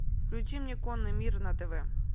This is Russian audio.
включи мне конный мир на тв